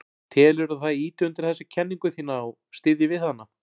Telurðu að það ýti undir þessa kenningu þína og styðji við hana?